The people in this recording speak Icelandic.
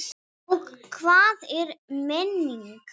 Og hvað er menning?